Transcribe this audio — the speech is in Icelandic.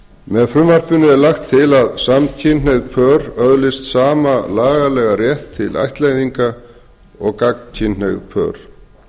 með frumvarpinu er lagt til að samkynhneigð pör öðlist sama lagalegan rétt til ættleiðinga og gagnkynhneigð pör